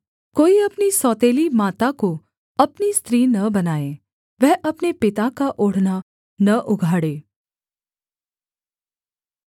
कोई अपनी सौतेली माता को अपनी स्त्री न बनाए वह अपने पिता का ओढ़ना न उघाड़े